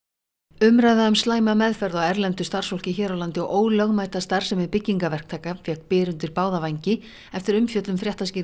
umræða um slæma meðferð á erlendu starfsfólki hér á landi og ólögmæta starfsemi byggingaverktaka fékk byr undir báða vængi eftir umfjöllun